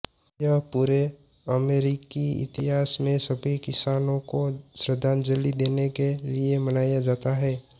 यह पूरे अमेरिकी इतिहास में सभी किसानों को श्रद्धांजलि देने के लिए मनाया जाता है